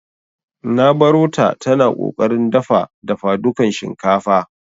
Nq barota tana ƙoƙarin dafa dafadukan shinkafa.